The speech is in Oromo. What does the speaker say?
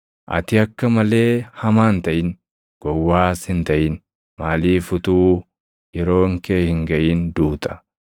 Ati akka malee hamaa hin taʼin; gowwaas hin taʼin; maaliif utuu yeroon kee hin gaʼin duuta?